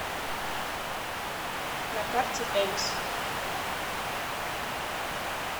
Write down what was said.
на карте элис